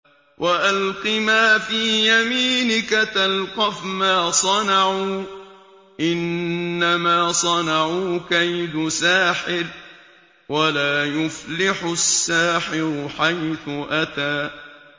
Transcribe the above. وَأَلْقِ مَا فِي يَمِينِكَ تَلْقَفْ مَا صَنَعُوا ۖ إِنَّمَا صَنَعُوا كَيْدُ سَاحِرٍ ۖ وَلَا يُفْلِحُ السَّاحِرُ حَيْثُ أَتَىٰ